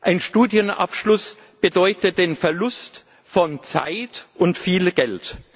Ein Studienabschluss bedeutet den Verlust von Zeit und viel Geld.